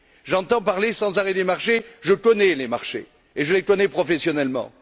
J'entends parler sans arrêt des marchés, je connais les marchés et je les connais professionnellement.